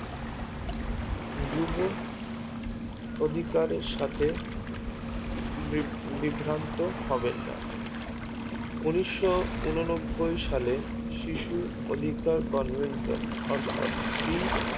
যুব অধিকারের সাথে বৃভ্রান্ত হবেননা উনিশো উনো নব্বৈ সালে শিশু অধিকার convention অর্থাৎ